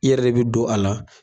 I yɛrɛ de bi don a la.